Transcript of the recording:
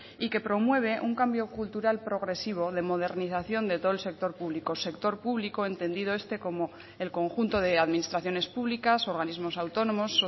y que promueve un cambio cultural progresivo de modernización de todo el sector público sector público entendido este como el conjunto de administraciones públicas organismos autónomos